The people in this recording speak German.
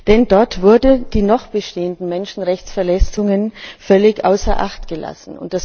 Denn dort wurden die noch bestehenden Menschenrechtsverletzungen völlig außer Acht gelassen.